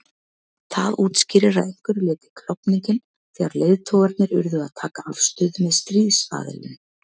Það útskýrir að einhverju leyti klofninginn þegar leiðtogarnir urðu að taka afstöðu með stríðsaðilum.